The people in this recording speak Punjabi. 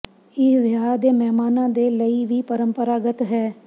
ਇਹ ਵਿਆਹ ਦੇ ਮਹਿਮਾਨਾਂ ਦੇ ਲਈ ਵੀ ਪਰੰਪਰਾਗਤ ਹੈ